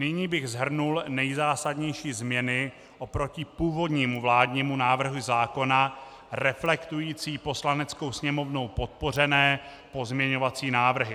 Nyní bych shrnul nejzásadnější změny oproti původnímu vládnímu návrhu zákona, reflektující Poslaneckou sněmovnou podpořené pozměňovací návrhy.